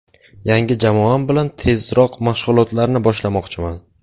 Yangi jamoam bilan tezroq mashg‘ulotlarni boshlamoqchiman.